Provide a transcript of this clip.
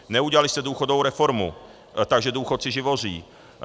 Neudělali jste důchodovou reformu, takže důchodci živoří.